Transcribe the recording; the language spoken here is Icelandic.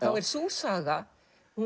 er sú saga